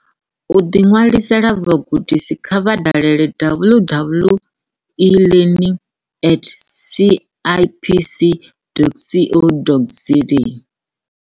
U ḓiṅwalisela vhugudisi kha vha dalele www.elearningatcipc.co.za.